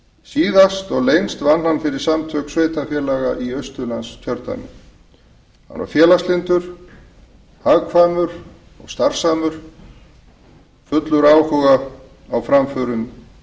síðast og lengst vann hann fyrir samtök sveitarfélaga í austurlandskjördæmi hann var félagslyndur hugkvæmur og starfsamur fullur áhuga á framförum